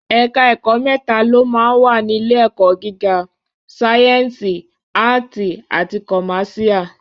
Ẹ̀ka ẹ̀kọ́ mẹ́ta ló máa ń wà ní ilé ẹ̀kọ́ gíga: sáyẹ̀nsì, áàtì àti kọ̀másíà